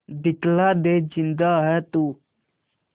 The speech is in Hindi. दिखला दे जिंदा है तू